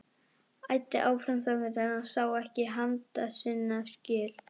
Æddi áfram þangað til hann sá ekki handa sinna skil.